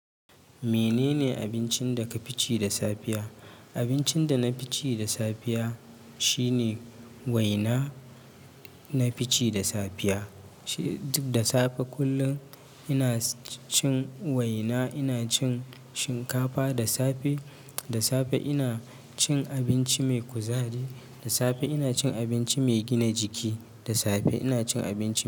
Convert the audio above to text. Menene abincin da ka fice da safiya? Abincin da na fi ce da safiya shine waina. Na fi ci da safiya, da safe kullum ina cin waina, ina cin shinkafa. Da safe, da safe ina cin abinci mai kuzari. Da safe ina cin abinci mai gina jiki. Da safe ina cin abinci.